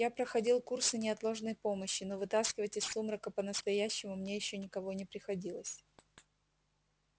я проходил курсы неотложной помощи но вытаскивать из сумрака по-настоящему мне ещё никого не приходилось